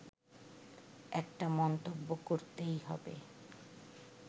একটা মন্তব্য করতেই হবে